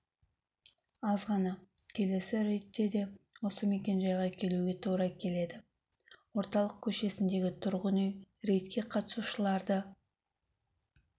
азғана келесі рейдте де осы мекен-жайға келуге тура келеді орталық көшесіндегі тұрғын үй рейдке қатысушыларды